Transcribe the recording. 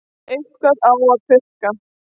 Eitthvað á að pukra.